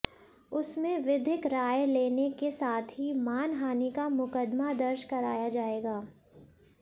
उसमें विधिक राय लेने के साथ ही मानहानि का मुकदमा दर्ज कराया जाएगा